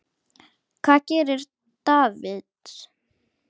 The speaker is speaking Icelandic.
Hvað gerir Davids?